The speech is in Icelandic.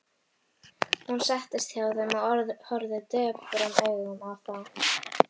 Hún settist hjá þeim og horfði döprum augum á þá.